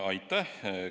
Aitäh!